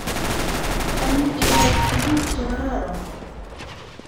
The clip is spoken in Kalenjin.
Cham iyai tukuk che kororon.